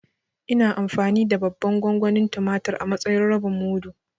Ina amfani da babban gongonin tumatur a matsayin rabin mudu.